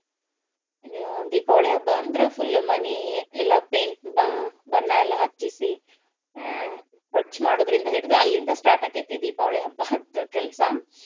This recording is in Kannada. ದ~ ದೀಪಾವಳಿ ಹಬ್ಬ ಅಂದ್ರ full ಮನೀ ಎಲ್ಲಾ paint ಬ~ ಬಣ್ಣ ಎಲ್ಲಾ ಹಚ್ಚಿಸಿ ಸ್ವಚ್ ಮಾಡೋದ್ರಿಂದ ಹಿಡ್ದ್ ಅಲ್ಲಿಂದ start ಅಕ್ಕೆತಿ ದೀಪವಳಿ ಹಬ್ಬಾದು ಕೆಲ್ಸ.